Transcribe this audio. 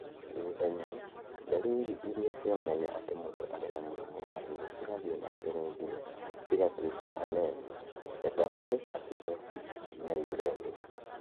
Thutha-inĩ, ndariri irĩa cionanagia atĩ mũndũ arĩ na mũrimũ wa higo cigathiĩ na mbere nginya cigatuĩka anemia, metabolic acidosis, na uremia.